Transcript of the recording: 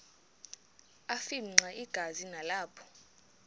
afimxa igazi nalapho